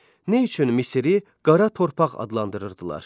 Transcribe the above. Nə üçün Misiri Qara torpaq adlandırırdılar?